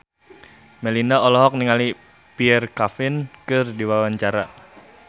Melinda olohok ningali Pierre Coffin keur diwawancara